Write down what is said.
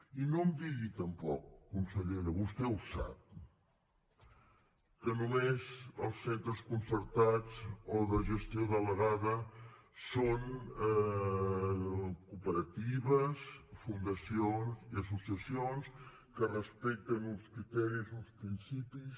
i no em digui tampoc consellera vostè ho sap que només els centres concertats o de gestió delegada són cooperatives fundacions i associacions que respecten uns criteris uns principis